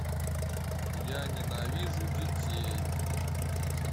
я ненавижу детей